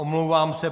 Omlouvám se.